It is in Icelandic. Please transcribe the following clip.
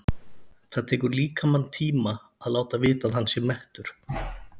Það tekur líkamann tíma að láta vita að hann sé mettur.